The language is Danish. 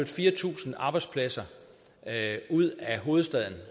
fire tusind arbejdspladser ud af hovedstaden